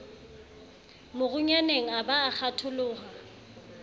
morunyaneng a ba a kgatholoha